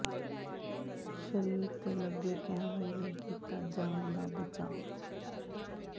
ਸ਼ਰੀਰ ਤੇ ਲੱਗੇ ਕੈਮਰੇ ਨੇ ਕੀਤਾ ਜਾਨ ਦਾ ਬਚਾਅ